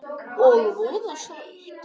Og voða sætt.